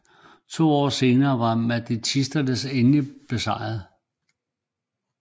To år senere var mahdisterne endeligt besejrede